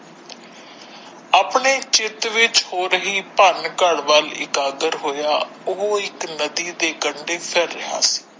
ਆਪਣੇ ਕਿਰਤ ਵਿੱਚ ਹੋ ਰਹੀ ਭਾਨ ਘਰ ਵੱਲ ਇਕਾਦਾਰ ਹੋਇਆ ਉਹ ਇੱਕ ਨਦੀ ਦੇ ਕੰਡੇ ਫਿਰ ਰਿਹਾ ਸੀ।